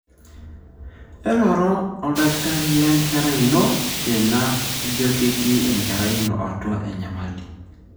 eroro oldakitari lenkerai ino tena ijio ketii enkerai ino atua enyamali.